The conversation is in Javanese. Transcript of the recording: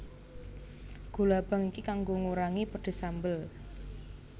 Gula abang iki kanggo ngurangi pedes sambel